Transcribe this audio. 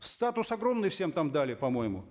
статус огромный всем там дали по моему